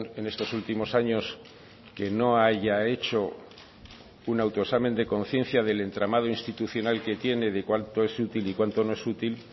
en estos últimos años que no haya hecho un autoexamen de conciencia del entramado institucional que tiene de cuánto es útil y cuánto no es útil